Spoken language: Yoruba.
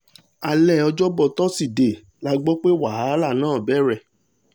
alẹ́ ọjọ́bọ̀ tọ́sídẹ̀ẹ́ la gbọ́ pé wàhálà náà bẹ̀rẹ̀